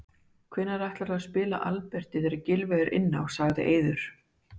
Hvar ætlarðu að spila Alberti þegar Gylfi er inn á? sagði Eiður.